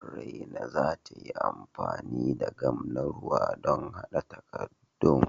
Raina za ta yi amfani gam na ruwa don haɗa takaddun.